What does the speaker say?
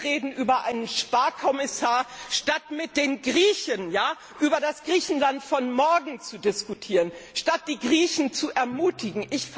Wir reden über einen Sparkommissar, statt mit den Griechen über das Griechenland von morgen zu diskutieren, statt die Griechen zu ermutigen.